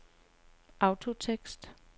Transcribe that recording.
autotekst